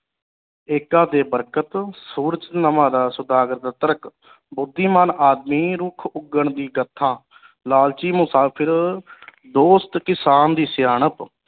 ਏਕਾ ਤੇ ਬਰਕਤ ਸੂਰਜ ਨਵਾਂ ਸੁਦਾਗਰ ਦਾ ਤਰਕ ਬੁੱਧੀਮਾਨ ਆਦਮੀ ਰੁੱਖ ਉਗਣ ਦੀ ਕਥਾ ਲਾਲਚੀ ਮੁਸਾਫ਼ਰ ਦੋਸਤ ਕਿਸਾਨ ਦੀ ਸਿਆਣਪ